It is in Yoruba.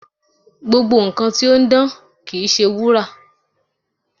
Gbogbo nkan ti o n dan kii ṣe wura